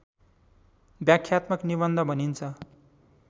व्याख्यात्मक निबन्ध भनिन्छ